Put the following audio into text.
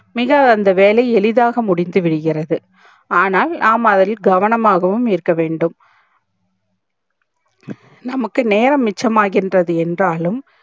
மிக அந்த வேலை எளிதாக முடிந்து விடிகிறது ஆனால் நாம அதில் கவனமாக உம் இருக்க வேண்டும் நமக்கு நேரம் மிச்சம் ஆகின்றது என்றாலும்